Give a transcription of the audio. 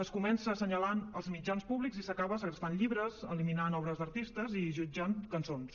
es comença assenyalant els mitjans públics i s’acaba segrestant llibres eliminant obres d’artistes i jutjant cançons